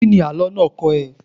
Kíni àlọ́ náà kọ́ ẹ?